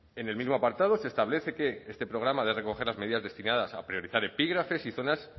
en el mismo apartado se establece que este programa ha de recoger las medidas destinadas a priorizar epígrafes y zonas